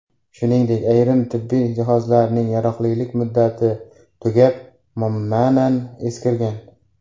Shuningdek, ayrim tibbiy jihozlarning yaroqlilik muddati tugab, ma’nan eskirgan.